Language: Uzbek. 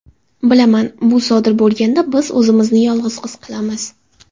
Bilaman, bu sodir bo‘lganda biz o‘zimizni yolg‘iz his qilamiz.